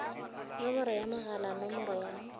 nomoro ya mogala nomoro ya